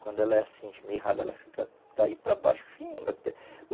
Quando ela é assim esmirrada, ela fica daí para baixo, fino até.